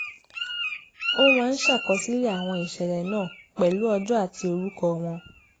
ó máa ń ṣàkọsílẹ̀ àwọn ìṣẹ̀lẹ̀ náà pẹ̀lú ọjọ́ àti orúkọ wọn